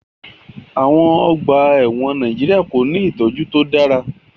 Àwon ogbà èwòn Naijiria ko ni ìtójú to dára